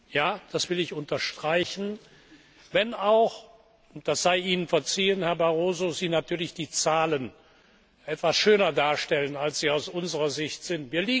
Ja, das will ich unterstreichen, wenn auch und das sei Ihnen verziehen, Herr Barroso Sie natürlich die Zahlen etwas schöner darstellen, als sie aus unserer Sicht sind.